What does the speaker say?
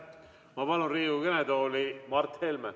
Ma palun Riigikogu kõnetooli Mart Helme!